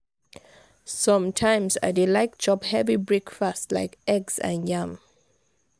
some times i dey like chop heavy breakfast like eggs and yam.